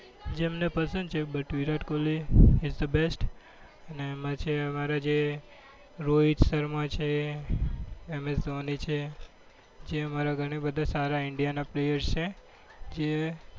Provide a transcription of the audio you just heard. જેમના person છે, but Virat Kohli is the best અને એમાં છે અમારા જે રોહિત શર્મા છે, એમ એસ ધોની છે જે અમારા ઘણા બધા સારા ઇન્ડિયાના player છે